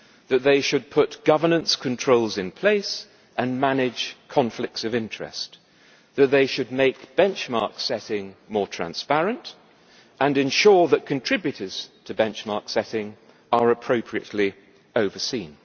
that they should put governance controls in place and manage conflicts of interest that they should make benchmark setting more transparent and ensure that contributors to benchmark setting are appropriately overseen.